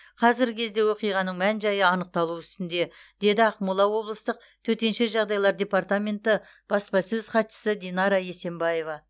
қазіргі кезде оқиғаның мән жайы анықталу үстінде деді ақмола облыстық төтенше жағдайлар департаменті баспасөз хатшысы динара есенбаева